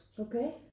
Okay